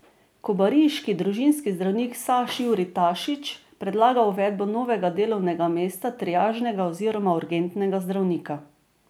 Kobariški družinski zdravnik Saš Jurij Tašič predlaga uvedbo novega delovnega mesta triažnega oziroma urgentnega zdravnika.